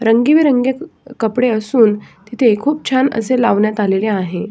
रंगीबी रंगी कपडे असून तिथे खुप छान अस लावण्यात आलेले आहे.